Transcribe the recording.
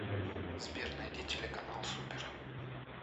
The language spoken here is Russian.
сбер найди телеканал супер